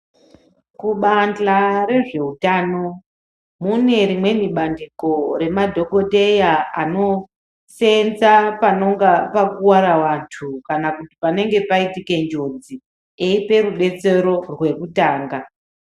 Kubanja rezveutano mune rimweni bandiko remadhogodheya anosenza panonga pakuvara antu. Kana kuti panenge paitike njodzi anope rubetsero rwekutanga.